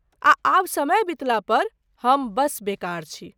आ आब समय बितला पर, हम बस बेकार छी!